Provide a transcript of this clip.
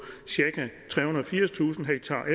cirka trehundrede og firstusind